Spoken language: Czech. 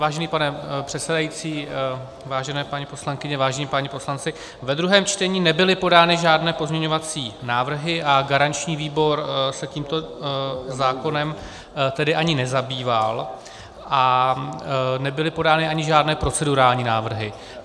Vážený pane předsedající, vážené paní poslankyně, vážení páni poslanci, ve druhém čtení nebyly podány žádné pozměňovací návrhy a garanční výbor se tímto zákonem tedy ani nezabýval a nebyly podány ani žádné procedurální návrhy.